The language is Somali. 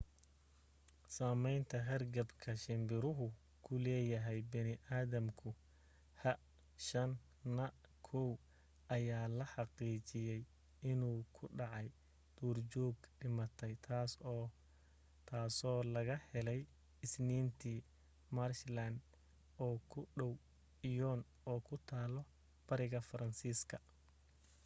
saamaynta hargabka shirbirahu ku leeyahay bini adamka h5n1 ayaa la xaqiijiyay inuu ku dhacay duurjoog dhimatay tasoo laga helay isniintii, maarshlaan oo u dhaw lyon oo ku taal bariga faransiiska